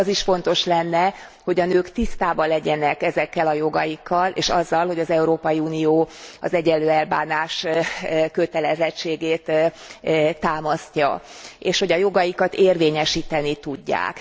Az is fontos lenne, hogy a nők tisztában legyenek ezekkel a jogaikkal és azzal, hogy az Európai Unió az egyenlő elbánás kötelezettségét támasztja, és hogy jogaikat érvényesíteni is tudják.